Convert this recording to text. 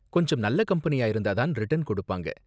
கொஞ்சம் நல்ல கம்பெனியா இருந்தா தான் ரிட்டர்ன் கொடுப்பாங்க.